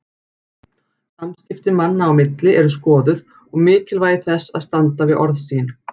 Samskipti manna á milli eru skoðuð og mikilvægi þess að standa við orð sín.